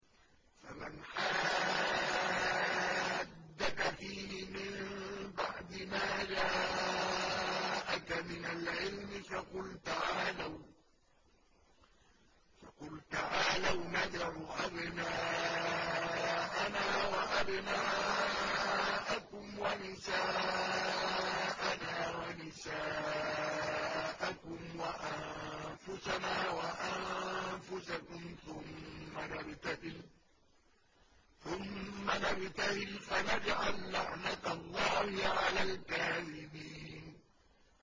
فَمَنْ حَاجَّكَ فِيهِ مِن بَعْدِ مَا جَاءَكَ مِنَ الْعِلْمِ فَقُلْ تَعَالَوْا نَدْعُ أَبْنَاءَنَا وَأَبْنَاءَكُمْ وَنِسَاءَنَا وَنِسَاءَكُمْ وَأَنفُسَنَا وَأَنفُسَكُمْ ثُمَّ نَبْتَهِلْ فَنَجْعَل لَّعْنَتَ اللَّهِ عَلَى الْكَاذِبِينَ